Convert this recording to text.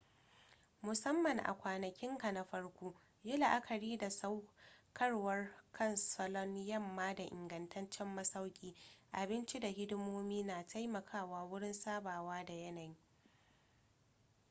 musamman a kwanakinka na farko yi la'akari da saukarwa kan salon yamma da ingantaccen masauki abinci da hidimomi na taimakawa wurin sabawa da yanayi